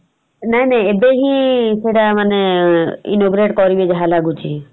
ନାଇଁ ନାଇଁ ଏବେବି ସେଟା ମାନେ innnagurate କରିବେ ଯାହା ଲାଗୁଚି ।